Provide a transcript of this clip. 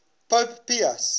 pope pius